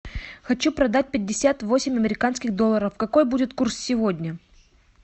хочу продать пятьдесят восемь американских долларов какой будет курс сегодня